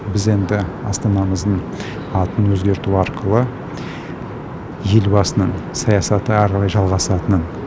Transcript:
біз енді астанамыздың атын өзгерту арқылы елбасының саясаты әрі қарай жалғасатынын